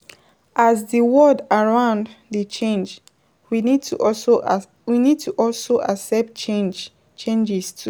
As di world around dey change we need to also accept changes too